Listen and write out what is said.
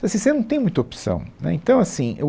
Então assim, você não tem muita opção, né. Então assim eu